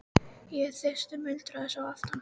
Ég er þyrstur muldraði sá aftari.